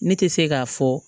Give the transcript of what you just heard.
Ne tɛ se k'a fɔ